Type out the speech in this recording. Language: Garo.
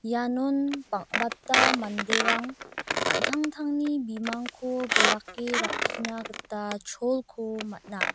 ianon bang·bata manderang an·tangtangni bimangko bilake rakkina gita cholko man·a.